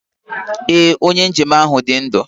Ee, onye njem ahụ dị ndụ